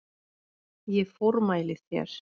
Ég formæli þér